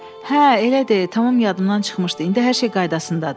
Hə, elədir, tamam yadımdan çıxmışdı, indi hər şey qaydasındadır.